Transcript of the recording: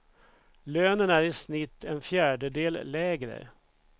Lönen i snitt en fjärdedel lägre.